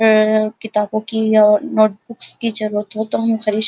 आ किताबो की या नोटबुक्स की जरुरत हो तो हम खरीद --